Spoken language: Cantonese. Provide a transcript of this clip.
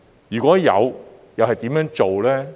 如有，是怎樣做？